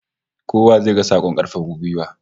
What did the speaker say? Kowa zai ga sakon karfafa gwiwa